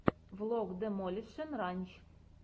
влог демолишен ранч